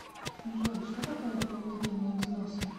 джой что такое дополнительные взносы